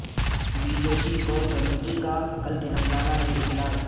be J P core committee کا کل تلنگانہ میں اجلاس